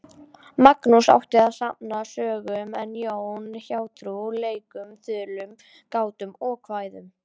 Magnús átti að safna sögum en Jón hjátrú, leikum, þulum, gátum og kvæðum.